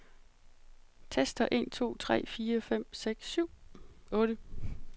Tester en to tre fire fem seks syv otte.